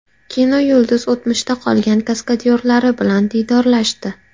Kinoyulduz o‘tmishda qolgan kaskadyorlari bilan diydorlashdi .